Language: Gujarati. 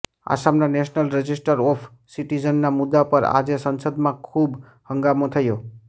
આસામના નેશનલ રજીસ્ટર ઓફ સિટિઝનના મુદ્દા પર આજે સંસદમાં ખૂબ હંગામો થયો